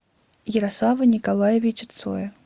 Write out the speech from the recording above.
ярослава николаевича цоя